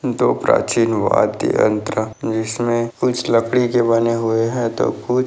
दो प्राचीन वाद्य अंत्र जिसमें कुछ लकड़ी के बने हुए हैं तो कुछ --